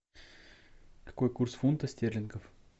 какой курс фунта стерлингов